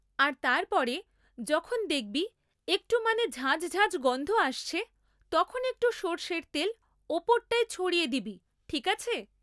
আর তারপরে যখন দেখবি একটু মানে ঝাঁঝ ঝাঁঝ গন্ধ আসছে তখন একটু সরষের তেল ওপরটায় ছড়িয়ে দিবি ঠিক আছে?